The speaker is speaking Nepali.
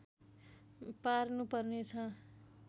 पार्नुपर्ने छ